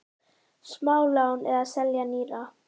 Smálán eða selja nýra?